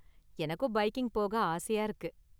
எனக்கும் பைக்கிங் போக ஆசையா இருக்கு.